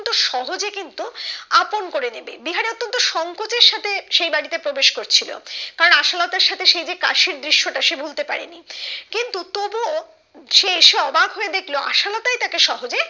সহজে কিন্তু আপন করে নিবে বিহারি অতন্ত সঙ্কোচের সাথে সেই বাড়িতে প্রবেশ করছিলো কারণ আশালতার সাথে সেই যে কাশির দৃশ্য টা সে ভুলতে পারেনি কিন্তু তবুও সে এসে অবাক হয়ে দেখলো আশালতাই তাকে সহজে